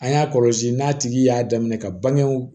An y'a kɔlɔsi n'a tigi y'a daminɛ ka bangew